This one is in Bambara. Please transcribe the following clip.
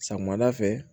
Samiyɛ fɛ